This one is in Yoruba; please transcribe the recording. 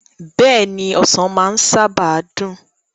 Beeni, Osan maa saba n dun